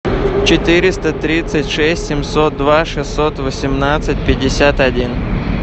четыреста тридцать шесть семьсот два шестьсот восемнадцать пятьдесят один